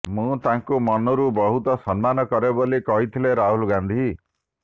ମୁଁ ତାଙ୍କୁ ମନରୁ ବହୁତ ସମ୍ମାନ କରେ ବୋଲି କହିଥିଲେ ରାହୁଲ ଗାନ୍ଧୀ